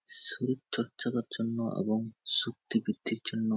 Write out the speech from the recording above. শরীর চর্চা করার জন্য এবং শক্তি বৃদ্ধির জন্য--